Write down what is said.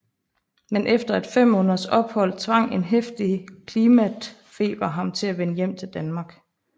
Men efter et 5 måneders ophold tvang en heftig klimatfeber ham til at vende hjem til Danmark